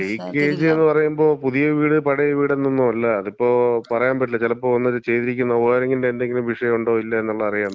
ഇല്ല, ലീക്കേജ് എന്ന് പറയുമ്പോ, പുതിയ വീട് പഴയ വീട് എന്നൊന്നും അല്ല. അതിപ്പം പറയാമ്പറ്റൂല ചെലപ്പോ അവന്മാര് ചെയ്തിരിക്കുന്ന വയറിങ്ങിന്‍റെ എന്തെങ്കിലും വിഷയോണ്ടോ ഇല്ലേ എന്നൊന്നും അറിയാമ്പറ്റൂല.